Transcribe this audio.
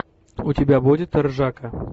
у тебя будет ржака